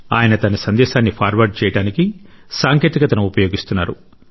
ఆయన తన సందేశాన్ని ఫార్వార్డ్ చేయడానికి సాంకేతికతను ఉపయోగిస్తున్నారు